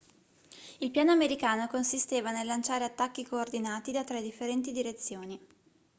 il piano americano consisteva nel lanciare attacchi coordinati da tre differenti direzioni